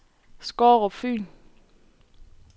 Skårup Fyn